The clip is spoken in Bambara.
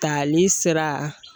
Tali sira